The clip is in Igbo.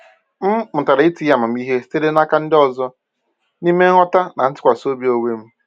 M mụtara itinye amamihe sitere n’aka ndị ọzọ n’ime nghọta na ntụkwasị obi onwe m.